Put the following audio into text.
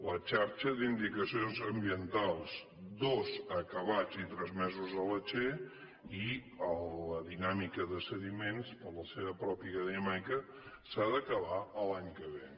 la xarxa d’indicacions ambientals dos acabats i transmesos a la che i la dinàmica de sediments per la seva pròpia dinàmica s’ha d’acabar l’any que ve